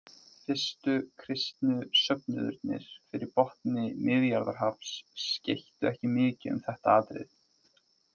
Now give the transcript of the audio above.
Fyrstu kristnu söfnuðirnir fyrir botni Miðjarðarhafs skeyttu ekki mikið um þetta atriði.